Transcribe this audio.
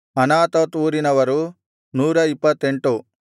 Anathoth ಊರಿನವರು 128